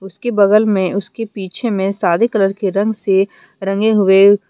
उसके बगल में उसके पीछे में सादे कलर के रंग से रंगे हुए--